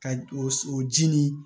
Ka o ji nin